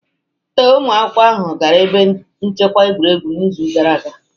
Ee, ụmụ akwụkwọ ahụ gara ebe nchekwa egwuregwu n'izu gara aga